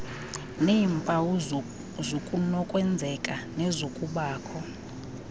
neempawu zokunokwenzeka nezokubakho